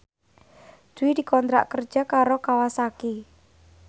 Dwi dikontrak kerja karo Kawasaki